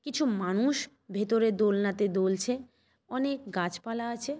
কিছু মানুষ ভেতরে দোলনাতে দোলছে অনেক গাছপালা আছে।